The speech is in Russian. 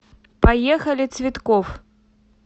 поехали цветкофф